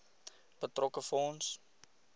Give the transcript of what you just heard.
betrokke fonds